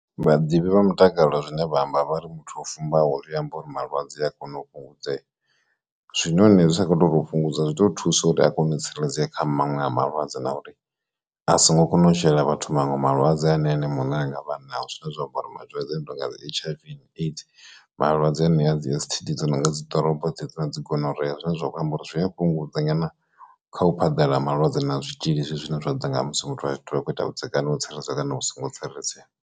Vhaḓivhi vha mutakalo zwine vha amba vha ri muthu o fumbaho ri amba uri malwadze a kona u fhungudzea zwinoni zwi sa kho to u fhungudza zwi ḓo thusa uri a kone u tsireledzea kha maṅwe a malwadze na uri a songo kona u shela vhathu maṅwe malwadze ane ene muṋe a nga vha nao, zwine zwa amba uri malwadze tonga dzi H_I_V and AIDS malwadze anea dzi S_T_D dzi no nga dzi ḓoropo dze dzi na dzi gonorhea zwine zwa khou amba uri zwi a fhungudze nyana kha u phaḓalala ha malwadze na zwitzhili zwi zwine zwa ḓo nga musi muthu a zwi ṱoḓi akho ita vhudzekani ho tsireledzea kana vhu songo tsireledzea.